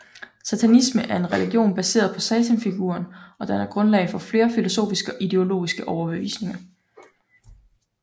Satanisme er en religion baseret på satanfiguren og danner grundlag for flere filosofiske og ideologiske overbevisninger